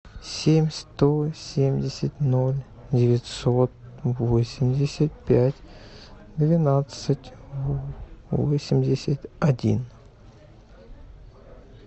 семь сто семьдесят ноль девятьсот восемьдесят пять двенадцать восемьдесят один